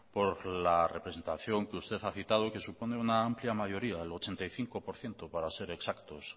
por la representación que usted ha citado y que supone una amplia mayoría el ochenta y cinco por ciento para ser exactos